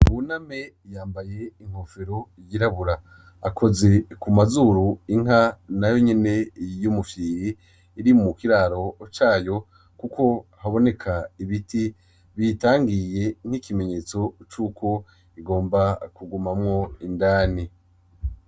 Wuna me yambaye inkofero yirabura akoze ku mazuru inka na yo nyene iyoumufyiri iri mu ukiraro cayo, kuko haboneka ibiti bitangiye nk'ikimenyetso c'uko igomba kugumamwo indani.